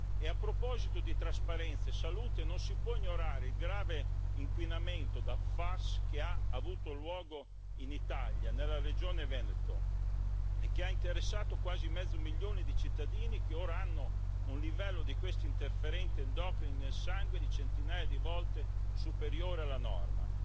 E a proposito di trasparenza e salute, non si può ignorare il grave inquinamento da PFAS che ha avuto luogo in Italia, nella regione Veneto, e che ha interessato quasi mezzo milione di cittadini che ora hanno un livello di questi interferenti endocrini nel sangue di centinaia di volte superiore alla norma.